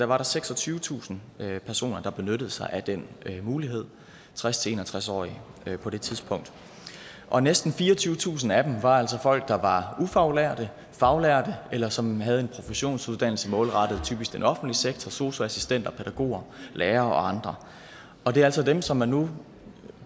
var der seksogtyvetusind personer der benyttede sig af den mulighed tres til en og tres årige på det tidspunkt og næsten fireogtyvetusind af dem var altså folk der var ufaglærte faglærte eller som havde en professionsuddannelse målrettet typisk den offentlige sektor sosu assistenter pædagoger lærere og andre det er altså dem som man nu